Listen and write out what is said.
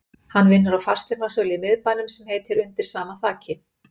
Hann vinnur á fasteignasölu í miðbænum sem heitir Undir sama þaki